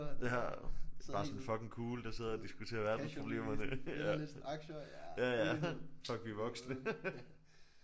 Ja bare sådan fucking cool der sidder og diskuterer verdensproblemerne ja ja ja fuck vi er voksne